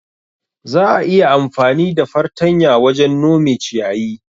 Za'a iya amfani da fartanya wajen nome ciyayi.